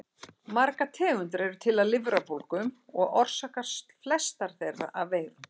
Margar tegundir eru til af lifrarbólgum og orsakast flestar þeirra af veirum.